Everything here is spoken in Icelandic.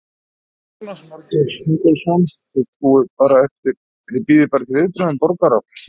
Jónas Margeir Ingólfsson: Þið bíðið bara eftir viðbrögðum borgar?